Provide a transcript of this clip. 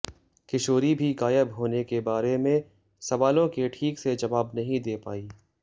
किशोरी भी गायब होने के बारे में सवालों के ठीक से जवाब नहीं दे पाई